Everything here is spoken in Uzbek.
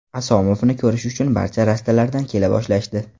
Asomovni ko‘rish uchun barcha rastalardan kela boshlashdi.